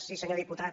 sí senyor diputat